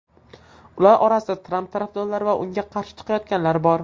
Ular orasida Tramp tarafdorlari va unga qarshi chiqayotganlar bor.